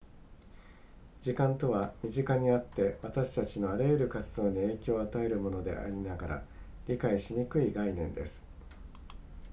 時間とは身近にあって私たちのあらゆる活動に影響を与えるものでありながら理解しにくい概念です